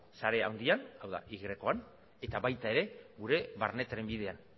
sare handian hau da yan eta baita ere gure barne trenbidean